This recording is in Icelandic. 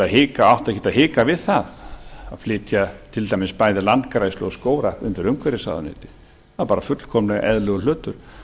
ekkert að hika við það að flytja til dæmis bæði landgræðslu og skógrækt undir umhverfisráðuneytið það er bara fullkomlega eðlilegur hlutur